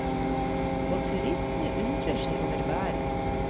Også turistene undrer seg over været.